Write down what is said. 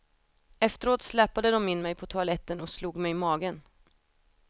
Efteråt släpade dom in mig på toaletten och slog mig i magen.